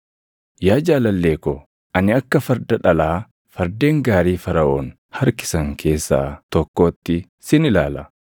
Yaa jaalallee ko, ani akka farda dhalaa fardeen gaarii Faraʼoon harkisan keessaa tokkootti sin ilaala.